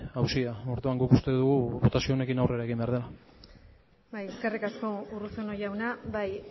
auzia orduan guk uste dugu botazio honekin aurrera egin behar dela bai eskerrik asko urruzuno jauna bai